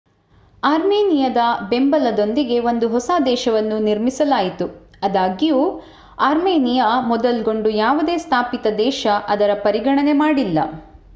ಅರ್ಮೇನಿಯಾದ ಬೆಂಬಲದೊಂದಿಗೆ ಒಂದು ಹೊಸ ದೇಶವನ್ನು ನಿರ್ಮಿಸಲಾಯಿತು ಅದಾಗ್ಯೂ ಆರ್ಮೆನಿಯಾ ಮೊದಲ್ಗೊಂಡು ಯಾವುದೇ ಸ್ಥಾಪಿತ ದೇಶ ಅದರ ಪರಿಗಣನೆ ಮಾಡಿಲ್ಲ